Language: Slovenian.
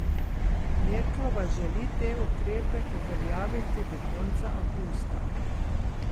Merklova želi te ukrepe uveljaviti do konca avgusta.